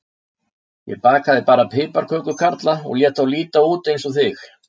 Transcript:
Ég bakaði bara piparkökukarla og lét þá líta út eins og þig.